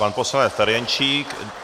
Pan poslanec Ferjenčík.